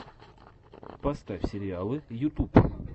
поставь сериалы ютуб